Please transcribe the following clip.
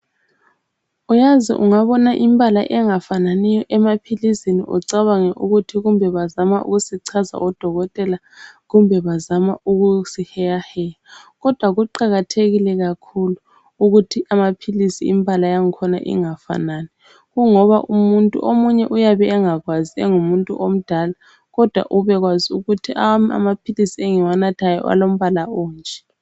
Uyazi ungabona imbala engafananiyo emaphilizini ucabange ukuthi kumbe bazama ukusichaza odokotela kumbe bazama ukusiheyaheya kodwa kuqakathekile kakhulu ukuthi amaphilisi imbala yangkhona ingafanani kungoba umuntu omunye uyabe engakwazi engumuntu omdala kodwa ube kwazi ukuthi awami amaphilisi engiwanathayo alombala onje.